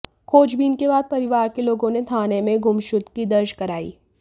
खोजबीन के बाद परिवार के लोगों ने थाने में गुमशुदगी दर्ज कराई